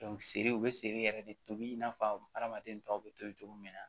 seri u bɛ seri yɛrɛ de tobi in n'a fɔ hadamaden tɔw bɛ tobi cogo min na